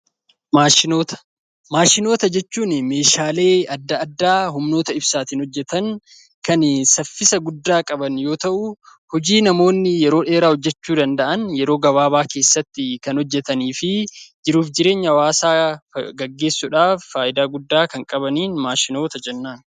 Maashinoota. Maadhinoota jechuun meeshaalee addaa addaa humnoota ibsaatiin hojjetan kan saffisa guddaa qaban yoo ta'u; hojii namoonni yeroo dheeraa hojjechuu danda'an yeroo gabaabaa keessatti kan hojjetanii fi jiruuf jireenya hawwaasaa gaggeessuudhaaf faayidaa guddaa kan qabaniin maashinoota jennaan.